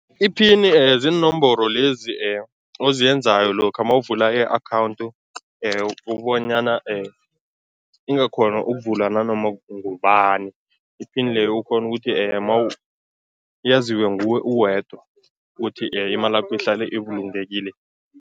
Iphini ziinomboro lezi oziyenzayo lokha mawuvula i-account ukubonyana ingakghona ukuvulwa nanoma ngubani. Iphini leyo ukghone ukuthi yaziwe nguwe uwedwa ukuthi imalakho ihlale ibulungekile.